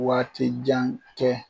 Waati jan tɛ